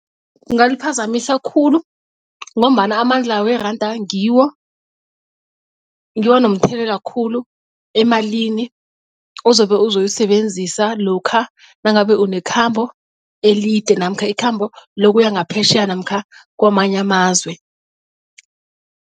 Kungaliphazamisa khulu ngombana amandla weranda ngiwo ngiwo anomthelela khulu emalini ozobe uzoyisebenzisa lokha nangabe unekhambo elide namkha ikhambo lokuya ngaphetjheya namkha kwamanye amazwe.